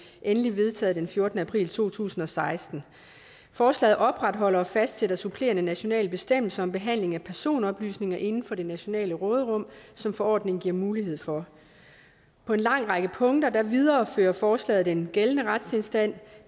endeligt vedtaget den fjortende april to tusind og seksten forslaget opretholder og fastsætter supplerende nationale bestemmelser om behandling af personoplysninger inden for det nationale råderum som forordningen giver mulighed for på en lang række punkter viderefører forslaget den gældende retstilstand